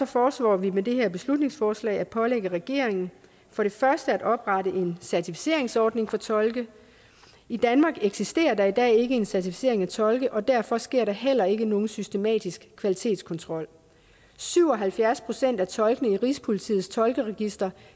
foreslår vi med det her beslutningsforslag at pålægge regeringen for det første at oprette en certificeringsordning for tolke i danmark eksisterer der i dag ikke en certificering af tolke og derfor sker der heller ikke nogen systematisk kvalitetskontrol syv og halvfjerds procent af tolkene i rigspolitiets tolkeregister